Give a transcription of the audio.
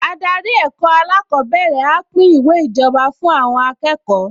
Adarí ẹ̀kọ́ alákọ̀ọ́bẹ̀rẹ̀ á pín ìwé ìjọba fún àwọn akẹ́kọ̀ọ